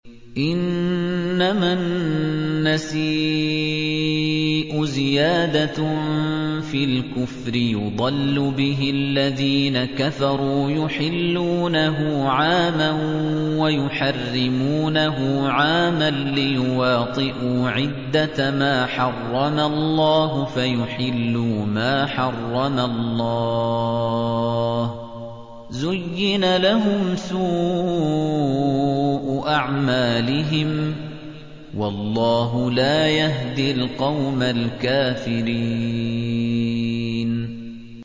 إِنَّمَا النَّسِيءُ زِيَادَةٌ فِي الْكُفْرِ ۖ يُضَلُّ بِهِ الَّذِينَ كَفَرُوا يُحِلُّونَهُ عَامًا وَيُحَرِّمُونَهُ عَامًا لِّيُوَاطِئُوا عِدَّةَ مَا حَرَّمَ اللَّهُ فَيُحِلُّوا مَا حَرَّمَ اللَّهُ ۚ زُيِّنَ لَهُمْ سُوءُ أَعْمَالِهِمْ ۗ وَاللَّهُ لَا يَهْدِي الْقَوْمَ الْكَافِرِينَ